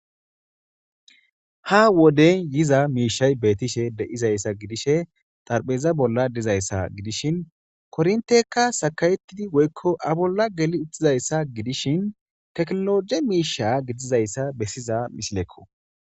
Ha wodey yiiza mishshati bettishe deiizayssa giddishe xaarapheza bolla diizayssa giidishin korrintteykka saakaetidi woyyko a bolla geeli uttidayssa giddishin tekkinoloje mishsha giddidayssa bessiza missilekko.